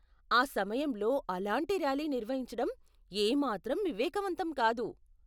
ఆ సమయంలో అలాంటి ర్యాలీ నిర్వహించటం ఏమాత్రం వివేకవంతం కాదు.